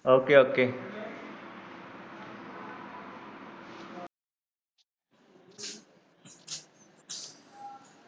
ok ok